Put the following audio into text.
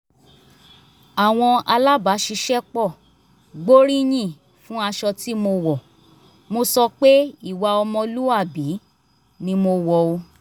àwọn alábàṣiṣẹ́pọ̀ gbóríyìn fún aṣọ tí mo wọ̀ mo sọ pé ìwà ọmọlúwàbí ni mo wọ̀ ọ́